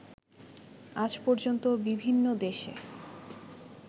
আজ পর্যন্ত বিভিন্ন দেশে